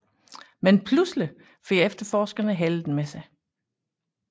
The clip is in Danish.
Men pludselig får efterforskerne heldet med sig